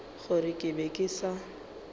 gore ke be ke sa